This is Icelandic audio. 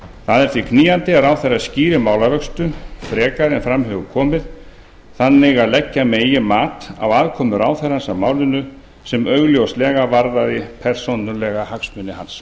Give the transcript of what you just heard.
það er því knýjandi að ráðherra skýri málavöxtu frekar en fram hefur komið þannig að leggja megi mat á aðkomu ráðherrans að málinu sem augljóslega varðaði persónulega hagsmuni hans